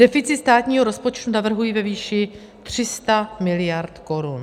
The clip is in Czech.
Deficit státního rozpočtu navrhuji ve výši 300 mld. korun.